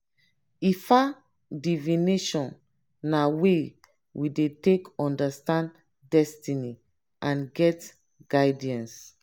ifa divination na way we dey take understand destiny and get guidance